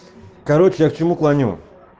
короче я к чему клоню